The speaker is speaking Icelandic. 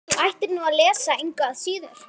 Þú ættir nú að lesa það engu að síður.